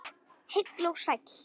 Heill og sæll.